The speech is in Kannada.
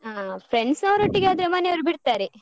ಹಾ friends ಅವರೊಟ್ಟಿಗೆ ಆದ್ರೆ ಮನೇಯವರು ಬಿಡ್ತಾರೆ.